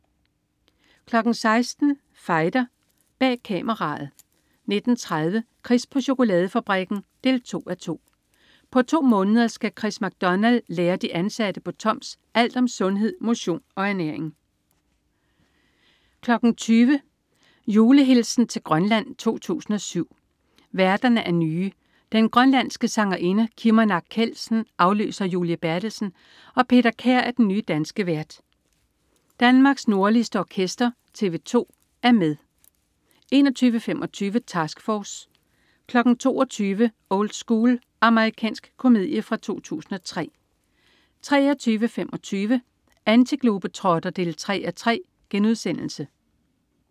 16.00 Fighter. Bag Kameraet 19.30 Chris på chokoladefabrikken 2:2. På to måneder skal Chris MacDonald lære de ansatte på Toms alt om sundhed, motion og ernæring 20.00 Julehilsen til Grønland 2007. Værterne er nye. Den grønlandske sangerinde Kimmernaq Kjeldsen afløser Julie Berthelsen, og Peter Kær er den nye danske vært. Danmarks nordligste orkester, tv-2, er med 21.25 Task Force 22.00 Old School. Amerikansk komedie fra 2003 23.25 Antiglobetrotter 3:3*